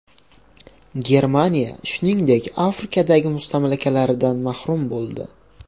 Germaniya, shuningdek, Afrikadagi mustamlakalaridan mahrum bo‘ldi.